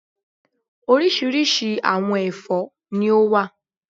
Orísirísi àwọn ẹ̀fọ́ ni ó wà